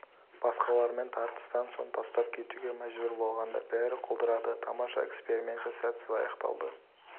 басқалармен тартыстан соң тастап кетуге мәжбүр болғанда бәрі құлдырады тамаша эксперименті сәтсіз аяқталды